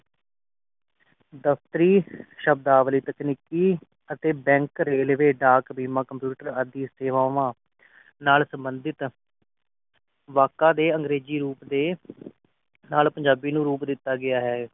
ਦਫ਼ਤਰੀ ਸ਼ਬਦਾਂ ਵਾਲੀ ਤਕਨੀਕੀ ਤੇ ਬੈੰਕ ਰੇਲਵੇ ਡਾਕ ਬੀਮਾ ਕੰਪਿਊਟਰ ਆਦਿ ਸੇਵਾਵਾਂ ਨਾਲ ਸੰਬੰਧਿਤ ਵਾਕਾਂ ਦੇ ਅੰਗਰੇਜ਼ੀ ਰੂਪ ਦੇ ਨਾਲ ਪੰਜਾਬੀ ਨੂੰ ਰੂਪ ਦਿਤਾ ਗਿਆ ਹੈ